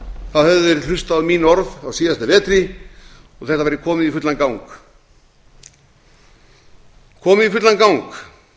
þeir hlustað á mín orð á síðasta vetri og þetta væri komið í fullan gang